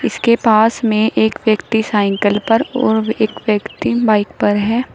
इसके पास में एक व्यक्ति साइकल पर और एक व्यक्ति बाइक पर है।